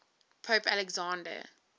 pope alexander